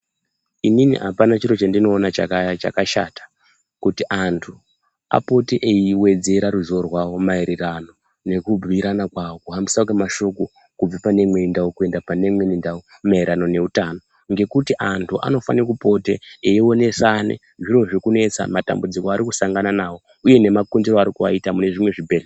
Inini apana chiro chendinoona chakashata kuti antu apote eiwedzera ruziwo rwawo maererano nekubhuyirana kwawo kuhambiswe kwemashoko kubve pane imweni ndau kuenda pane imweni ndau maererano neutano ngekuti antu anofane kupote eionesana zviro zviri kunesa matambudziko aari kusangana nawo uye nemakundire aari kuaita mune zvimwe zvibhedhleya.